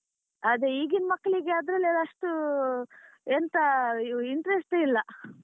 ಅದೇ ಈಗಿನ್ ಮಕ್ಳಿಗೆ ಅದ್ರಲ್ಲೆಲ್ಲ ಅಷ್ಟು ಎಂತ interest ಇಲ್ಲ.